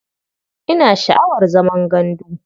Ina sha'awar zaman gandu.